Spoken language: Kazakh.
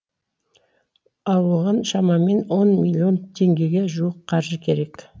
ал оған шамамен он миллион теңгеге жуық қаржы керек